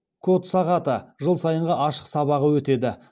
код сағаты жыл сайынғы ашық сабағы өтеді